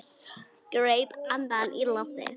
Greip andann á lofti.